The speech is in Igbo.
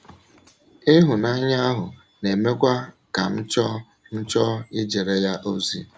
Ịhụnanya ahụ na - emekwa ka m chọọ m chọọ ijere ya ozi. ”